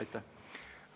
Aitäh!